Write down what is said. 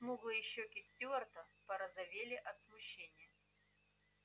смуглые щёки стюарта порозовели от смущения